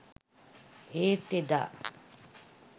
ඒත් එදා